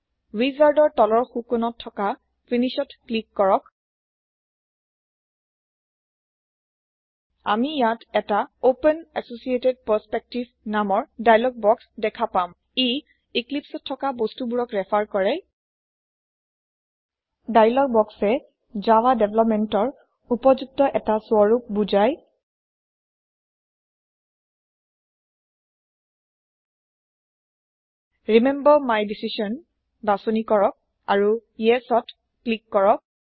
ৱিজাৰ্দৰ তলৰ সোঁ কোণত থকা Finishত ক্লিক কৰক আমি ইয়াত এটা অপেন এচচিয়েটেড পাৰ্চপেক্টিভ নামৰ ডাইলগ বক্স দেখা পাম ই ইক্লিপ্চত থকা বস্তু বোৰক ৰেফাৰ কৰে ডাইলগ বক্সএ জাভা দেভলপমেন্টৰ উপযুক্ত এটা স্ৱৰুপক বুজাই ৰিমেম্বৰ মাই ডিচিছন বাছনি কৰক আৰু ইএছ ত ক্লিক কৰক